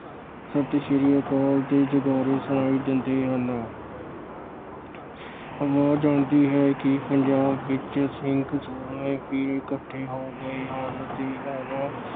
ਸਤਿ ਸ਼੍ਰੀ ਅਕਾਲ ਦੇ ਜੈਕਾਰੇ ਸੁਣਾਈ ਦਿੰਦੇ ਹਨ। ਆਵਾਜ ਆਉਂਦੀ ਹੈ ਕਿ ਪੰਜਾਬ ਵਿੱਚ ਸਿੰਘ ਸੂਰਮੇ ਫਿਰ ਇੱਕਠੇ ਹੋ ਗਏ ਹਨ ਅਤੇ ਉਹਨਾਂ